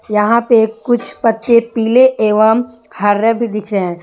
यहां पे कुछ पत्ते पीले एवं हरे भी दिख रहे हैं।